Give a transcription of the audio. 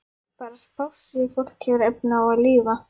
Bara spássíufólk hefur efni á að lifa.